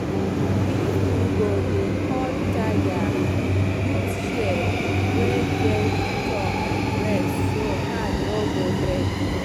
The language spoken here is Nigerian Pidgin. if you go dey cut taya use shears wey get thumb rest so hand no go break